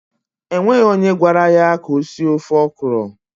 E nweghi onye gwara ya ka o sie ofe ọkọrọ.